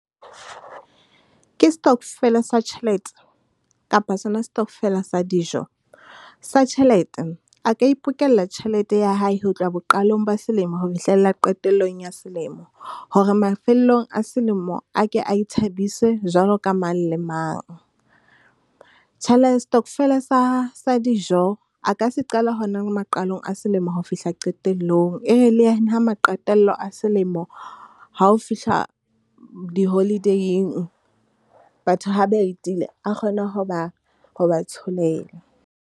Ke stokvel-a sa tjhelete kapa sona stockvel-a sa dijo. Sa tjhelete, a ka ipokella tjhelete ya hae ho tloha boqalong ba selemo ho fihlella qetellong ya selemo, hore mafellong a selemo a ke a ithabise jwalo ka mang le mang. stockvel-a sa, sa dijo, a ka se qala hona le maqalong a selemo ho fihla qetellong. E re le ena ha maqetello a selemo ha o fihla di-holiday-ing, batho ha ba etile, a kgone ho ba, ho ba tsholela.